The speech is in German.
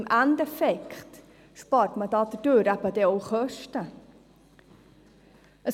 Im Endeffekt spart man dadurch eben auch Kosten.